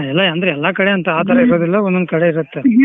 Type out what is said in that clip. ಅ ಎಲ್ಲ ಅಂದ್ರ ಎಲ್ಲಾ ಕಡೆ ಅಂತ್ ಆ ತರಾ ಇರೂದಿಲ್ಲ ಒಂದೊಂದು ಕಡೆ ಇರುತ್ತೆ.